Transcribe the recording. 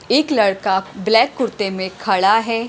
एक लड़का ब्लैक कुर्ते में खड़ा है।